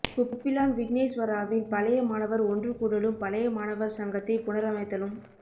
குப்பிளான் விக்கினேஸ்வராவின் பழைய மாணவர் ஒன்று கூடலும் பழைய மாணவர் சங்கத்தைப் புனரமைத்தலும்